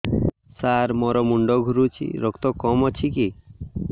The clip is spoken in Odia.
ସାର ମୋର ମୁଣ୍ଡ ଘୁରୁଛି ରକ୍ତ କମ ଅଛି କି